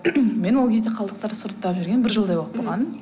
мен ол кезде қалдықтарды сұрыптап жүргеніме бір жылдай боп қалған